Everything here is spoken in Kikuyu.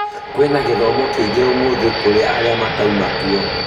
Kwĩna gĩthomo kĩngĩ ũmũthĩ kũrĩ arĩa matauma kuo